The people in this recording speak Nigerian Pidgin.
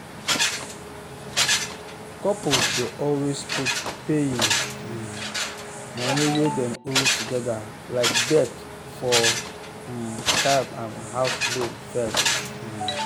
couples dey always put paying um money wey dem owe togedr like debt for um card and house loan first um